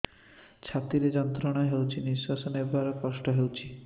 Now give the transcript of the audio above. ଛାତି ରେ ଯନ୍ତ୍ରଣା ହେଉଛି ନିଶ୍ଵାସ ନେବାର କଷ୍ଟ ହେଉଛି